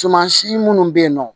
Suman si munnu be yen nɔ